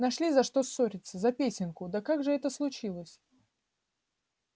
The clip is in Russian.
нашли за что ссориться за песенку да как же это случилось